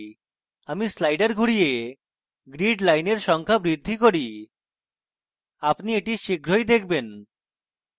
আমি slider ঘুরিয়ে grid lines সংখ্যা বৃদ্ধি করি আপনি এটি শীঘ্রই দেখবেন